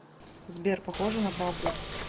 сбер похоже на правду